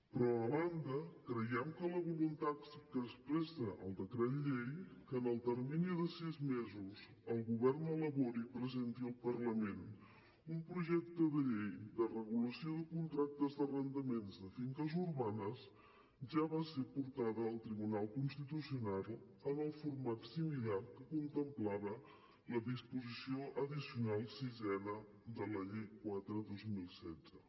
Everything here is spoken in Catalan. però a banda creiem que la voluntat que expressa el decret llei que en el termini de sis mesos el govern elabori i presenti al parlament un projecte de llei de regulació de contractes d’arrendaments de finques urbanes ja va ser portada al tribunal constitucional en el format similar que contemplava la disposició addicional sisena de la llei quatre dos mil setze